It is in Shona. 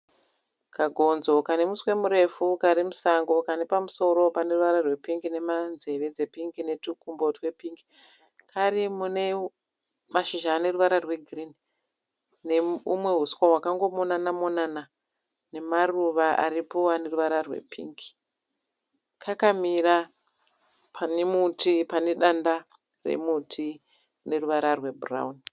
Kagonzo kane muswe murefu kari musango, kane pamusoro pane ruvara rwepingi, nenzeve dzepingi netwukumbo twepingi. Kari mune mashizha ane ruvara rwegirini neumwe huswa hwakangomonana-monana nemaruva aripo ane ruvara rwepingi. Kakamira pane danda remuti rine ruvara rwebhurauni.